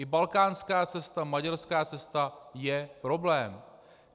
I balkánská cesta, maďarská cesta je problém.